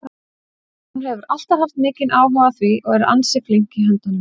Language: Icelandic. Hún hefur alltaf haft mikinn áhuga á því og er líka ansi flink í höndunum.